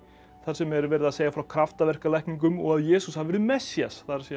þar sem er verið að segja frá og að Jesús hafi verið Messías það er